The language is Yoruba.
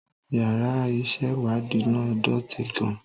Yàrá ìṣèwádìí náà dọ̀tí gan-an